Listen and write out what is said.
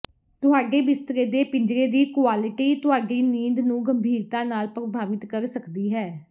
ਤੁਹਾਡੇ ਬਿਸਤਰੇ ਦੇ ਪਿੰਜਰੇ ਦੀ ਕੁਆਲਿਟੀ ਤੁਹਾਡੀ ਨੀਂਦ ਨੂੰ ਗੰਭੀਰਤਾ ਨਾਲ ਪ੍ਰਭਾਵਿਤ ਕਰ ਸਕਦੀ ਹੈ